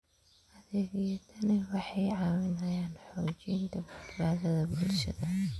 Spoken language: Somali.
Adeegyadani waxay caawiyaan xoojinta badbaadada bulshada.